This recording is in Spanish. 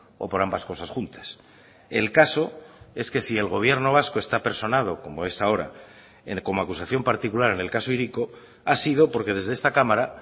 o por ambas cosas juntas el caso es que si el gobierno vasco está personado como es ahora como acusación particular en el caso hiriko ha sido porque desde esta cámara